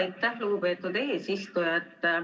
Aitäh, lugupeetud eesistuja!